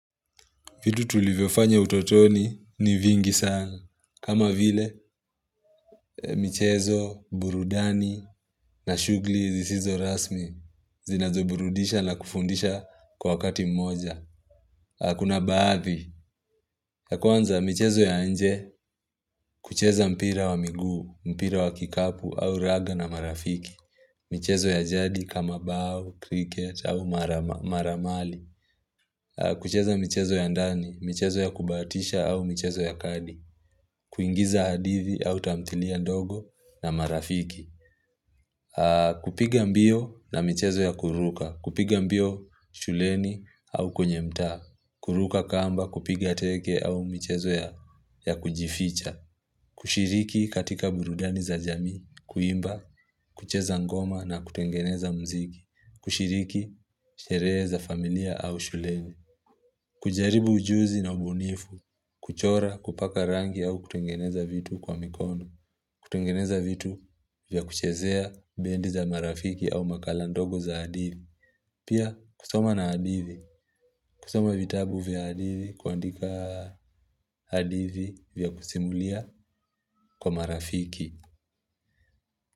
Vitu tulivyofanya utotoni ni vingi sana. Kama vile, michezo, burudani na shughuli zisizo rasmi zinazoburudisha na kufundisha kwa wakati mmoja. Na kuna baadhi. Ya kwanza, michezo ya nje kucheza mpira wa miguu, mpira wa kikapu au raga na marafiki. Michezo ya jadi kama bao, cricket au mara mali. Kucheza michezo ya ndani, michezo ya kubahatisha au michezo ya kadi. Kuingiza hadithi au tamthilia ndogo na marafiki kupiga mbio na michezo ya kuruka kupiga mbio shuleni au kwenye mtaa kuruka kamba, kupiga teke au michezo ya kujificha kushiriki katika burudani za jamii Kuimba, kucheza ngoma na kutengeneza mziki kushiriki, sherehe za familia au shuleni kujaribu ujuzi na ubunifu kuchora, kupaka rangi au kutengeneza vitu kwa mikono kutengeneza vitu vya kuchezea bendi za marafiki au makala ndogo za hadithi Pia kusoma na hadithi kusoma vitabu vya hadithi kuandika hadivi vya kusimulia kwa marafiki.